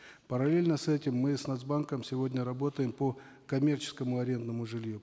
параллельно с этим мы с нац банком сегодня работаем по коммерческому арендному жилью